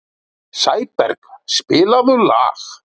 Sæberg, spilaðu lag.